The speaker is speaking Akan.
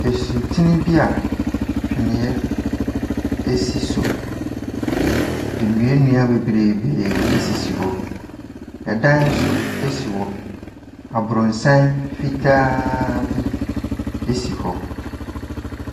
Nsutene bi a twene si so. Nnua nnua bebreebee sisi hɔ. Ɛda nso si hɔ. Aborosan fitaaaaa bi si hɔ.